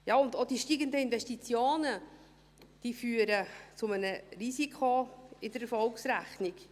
Ja, und auch die steigenden Investitionen führen zu einem Risiko in der Erfolgsrechnung.